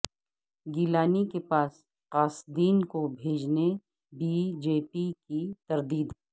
گیلانی کے پاس قاصدین کو بھیجنے بی جے پی کی تردید